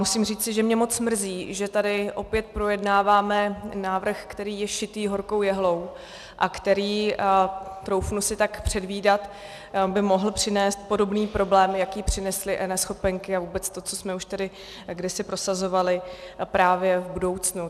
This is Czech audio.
Musím říci, že mě moc mrzí, že tady opět projednáváme návrh, který je šitý horkou jehlou a který, troufnu si tak předvídat, by mohl přinést podobný problém, jaký přinesly eNeschopenky a vůbec to, co jsme už tady kdysi prosazovali, právě v budoucnu.